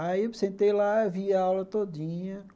Aí eu sentei lá, vi a aula todinha.